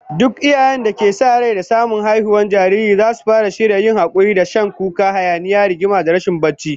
Duk iyayen da ke sa rai da samun haihuwar jariri zasu fara shirya yin hakuri da shan kuka, hayaniya, rigima da rashin barci